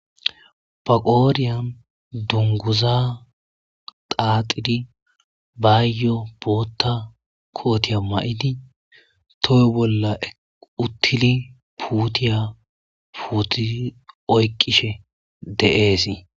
Ba qooriyan dunguza xaaxidi baayyo bootta kootiya ma'idi toyy bolla uttili puutiya puuti oyqishe de'eesii.